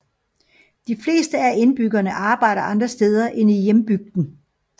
De fleste af indbyggerne arbejder andre steder end i hjembygden